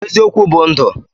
eziokwu bu ndu